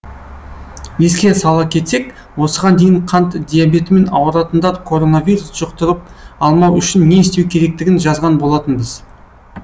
еске сала кетсек осыған дейін қант диабетімен ауыратындар коронавирус жұқтырып алмау үшін не істеу керектігін жазған болатынбыз